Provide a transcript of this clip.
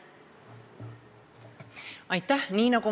Aitäh!